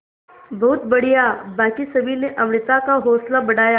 बहुत बढ़िया बाकी सभी ने अमृता का हौसला बढ़ाया